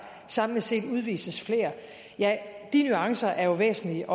samlet set udvises flere de nuancer er jo væsentlige